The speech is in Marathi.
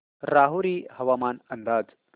राहुरी हवामान अंदाज